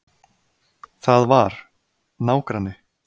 Það var. nágranni.